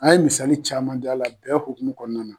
An ye misali caman di a la bɛn hukumu kɔnɔna na.